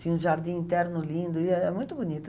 Tinha um jardim interno lindo, e é é muito bonita.